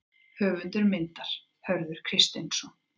Höfundur myndar: Hörður Kristinsson.